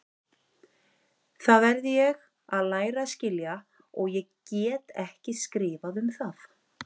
Það verð ég að læra að skilja og get ekki skrifað um það.